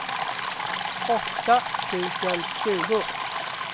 åtta tusen tjugo